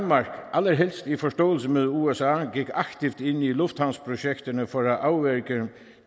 allerhelst i forståelse med usa gik aktivt ind i lufthavnsprojekterne for at afværge